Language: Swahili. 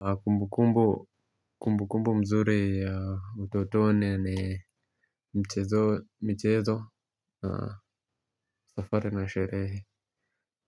Kumbu kumbu mzuri ya utotoni ni michezo, safari na sherehe